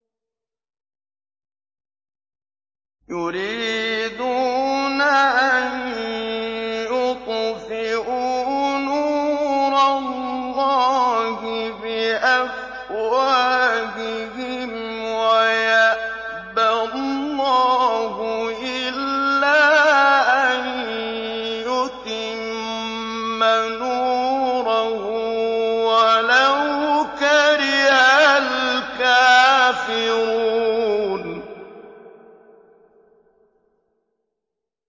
يُرِيدُونَ أَن يُطْفِئُوا نُورَ اللَّهِ بِأَفْوَاهِهِمْ وَيَأْبَى اللَّهُ إِلَّا أَن يُتِمَّ نُورَهُ وَلَوْ كَرِهَ الْكَافِرُونَ